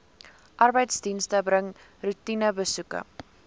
arbeidsdienste bring roetinebesoeke